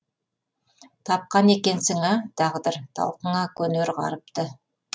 тапқан екенсің а тағдыр талқыңа көнер ғаріпті